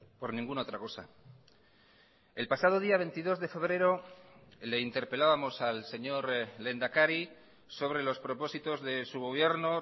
por ninguna otra cosa el pasado día veintidós de febrero le interpelábamos al señor lehendakari sobre los propósitos de su gobierno